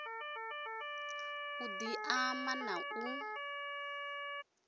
u di ama na u